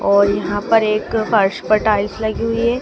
और यहां पर एक फर्श पर टाइल्स लगी हुई है।